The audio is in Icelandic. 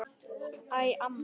Æ, mamma!